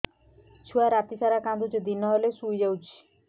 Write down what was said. ଛୁଆ ରାତି ସାରା କାନ୍ଦୁଚି ଦିନ ହେଲେ ଶୁଇଯାଉଛି